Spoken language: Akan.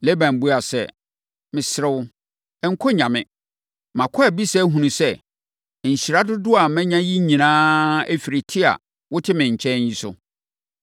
Laban buaa sɛ, “Mesrɛ wo, nkɔ nnya me. Makɔ abisa ahunu sɛ, nhyira dodoɔ a manya yi nyinaa firi te a wote me nkyɛn yi so.”